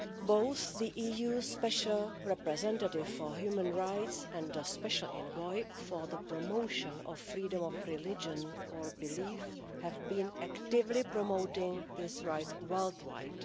Both the EU Special Representative for Human Rights and the Special Envoy for the promotion of freedom of religion or belief have been actively promoting this right worldwide.